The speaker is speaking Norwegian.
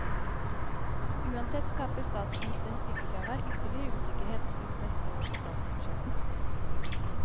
Uansett skaper statsministerens sykefravær ytterligere usikkerhet rundt neste års statsbudsjett.